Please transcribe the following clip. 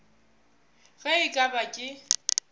ge e ka ba ke